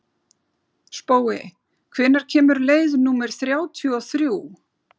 Spói, hvenær kemur leið númer þrjátíu og þrjú?